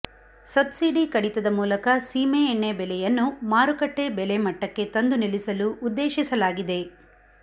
subsidy ಕಡಿತದ ಮೂಲಕ ಸೀಮೆಎಣ್ಣೆ ಬೆಲೆಯನ್ನು ಮಾರುಕಟ್ಟೆ ಬೆಲೆಮಟ್ಟಕ್ಕೆ ತಂದು ನಿಲ್ಲಿಸಲು ಉದ್ದೇಶಿಸಲಾಗಿದೆ